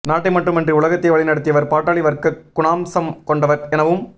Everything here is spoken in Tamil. நாட்டை மட்டுமன்றி உலகத்தையே வழிநடத்தியவர் பாட்டாளி வர்க்க குணாம்சம் கொண்டவர் எனவும்